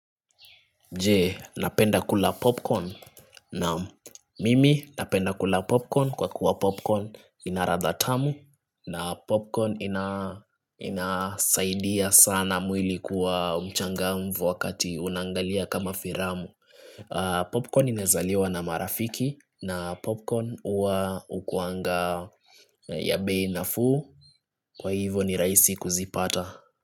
Je napenda kula popcorn naam mimi napenda kula popcorn kwa kuwa popcorn inaradha tamu na popcorn inasaidia sana mwili kuwa umchanga mvu wakati unangalia kama firamu Popcorn inazaliwa na marafiki na popcorn uwa ukuanga ya bei na fuu kwa hivyo ni raisi kuzipata.